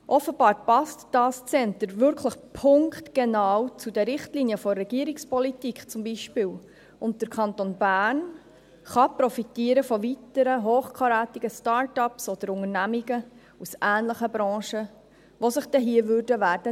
Offenbar passt dieses Zentrum punktgenau zum Beispiel zu den Richtlinien der Regierungspolitik, und der Kanton Bern kann von weiteren hochkarätigen Start-ups oder Unternehmungen aus ähnlichen Branche profitieren, welche sich hier niederlassen würden.